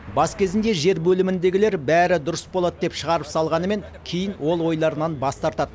бас кезінде жер бөліміндегілер бәрі дұрыс болады деп шығарып салғанымен кейін ол ойларынан бас тартады